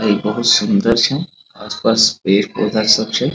और ये बहुत सुंदर छे आसपास पेड़-पौधा सब छे।